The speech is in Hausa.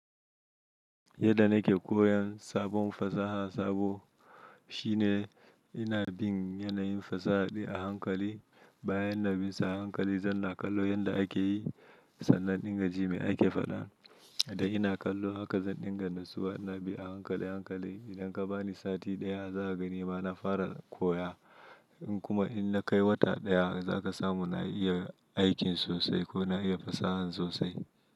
Yadda nake koyan sabon fasaha sabo shine ina bin yanayin fasaha din a hankali. Bayan na bi sa a hankali zan na kallo yanda ake yi, sannan in dinga jin me ake faɗa. Da ina kallo haka zan dinga natsuwa inabi a hankali hankali. Idan ka bani sati ɗaya za ka ga nima na fara koya. In kuma in na kai wata ɗaya za ka samu na iya aikin sosai ko na iya fasahan sosai.